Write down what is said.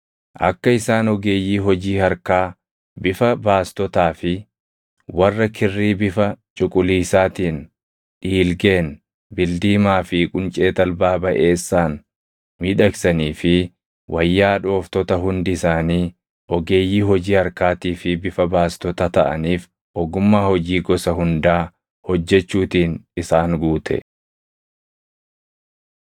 Akka isaan ogeeyyii hojii harkaa, bifa baastotaa fi warra kirrii bifa cuquliisaatiin, dhiilgeen, bildiimaa fi quncee talbaa baʼeessaan miidhagsanii fi wayyaa dhooftota hundi isaanii ogeeyyii hojii harkaatii fi bifa baastota taʼaniif ogummaa hojii gosa hundaa hojjechuutiin isaan guute.